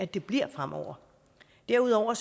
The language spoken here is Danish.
det bliver fremover derudover